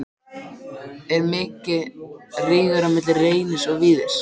Er mikill rígur á milli Reynis og Víðis?